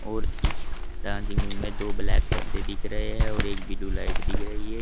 और इस dancing room में दो ब्लैक पर्दे दिख रहे हैं और एक ब्लू लाइट दिख रही है।